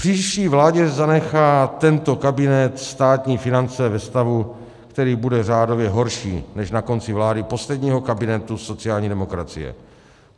Příští vládě zanechá tento kabinet státní finance ve stavu, který bude řádově horší než na konci vlády posledního kabinetu sociální demokracie.